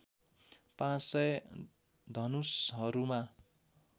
पाँच सय धनुषहरूमा